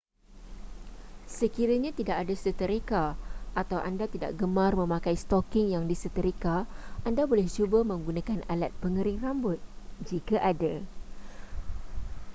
sekiranya tidak ada seterika atau anda tidak gemar memakai stoking yang diseterika anda boleh cuba menggunakan alat pengering rambut jika ada